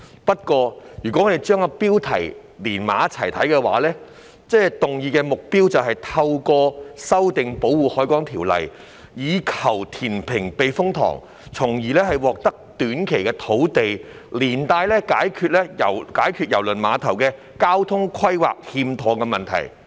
不過，如果將標題與內文結合起來看，議案的目標便是透過修訂《條例》，以求填平避風塘，從而獲得短期土地供應，同時解決郵輪碼頭交通規劃欠妥的問題。